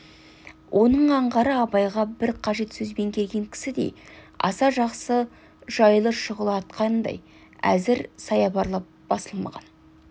оның аңғары абайға бір қажет сөзбен келген кісідей аса жақсы жайлы шұғыла атқандай әзір саябырлап басылмаған